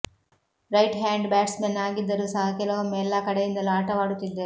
right hand batsman ಆಗಿದ್ದರೂ ಸಹ ಕೆಲವೊಮ್ಮೆ ಎಲ್ಲಾ ಕಡೆಯಿಂದಲೂ ಆಟವಾಡುತ್ತಿದ್ದರು